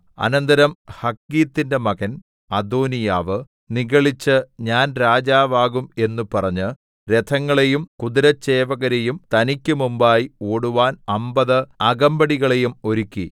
അനന്തരം ഹഗ്ഗീത്തിന്റെ മകൻ അദോനീയാവ് നിഗളിച്ച് ഞാൻ രാജാവാകും എന്ന് പറഞ്ഞ് രഥങ്ങളെയും കുതിരച്ചേവകരെയും തനിക്ക് മുമ്പായി ഓടുവാൻ അമ്പത് അകമ്പടികളെയും ഒരുക്കി